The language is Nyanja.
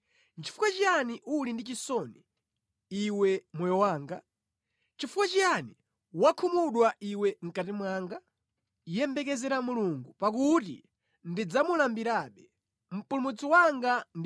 Nʼchifukwa chiyani uli ndi chisoni, iwe moyo wanga? Nʼchifukwa chiyani wakhumudwa iwe mʼkati mwanga? Yembekezera Mulungu, pakuti ndidzamulambirabe, Mpulumutsi wanga ndi